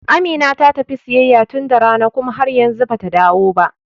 Amina ta tafi siyayya tun da rana kuma har yanzu bata dawo ba.